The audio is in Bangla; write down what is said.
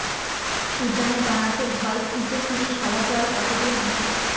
উজানে দাঁড়াতে ভয় খুঁজে ফিরি সারা জল কতদূর ভাটি